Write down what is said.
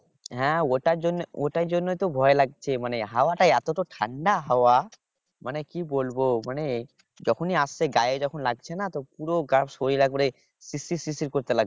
হ্যাঁ ওটার জন্য ওটার জন্যই তো ভয় লাগছে মানে হাওয়াটা এতটা ঠান্ডা হাওয়া মানে কি বলবো মানে যখনই আসছে গায়ে যখনই লাগছেনা তখন পুরো শরীর একেবারে শিরশির শিরশির করতে লাগছে